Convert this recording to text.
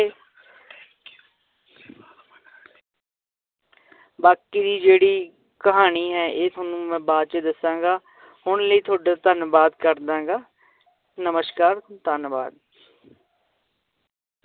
ਬਾਕੀ ਜਿਹੜੀ ਕਹਾਣੀ ਹੈ ਇਹ ਤੁਹਾਨੂੰ ਮੈਂ ਬਾਅਦ ਚ ਦੱਸਾਂਗਾ ਹੁਣ ਲਈ ਤੁਹਾਡਾ ਧੰਨਵਾਦ ਕਰਦਾਂ ਗਾ ਨਮਸ਼ਕਾਰ ਧੰਨਵਾਦ।